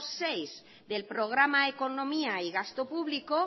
seis del programa economía y gasto público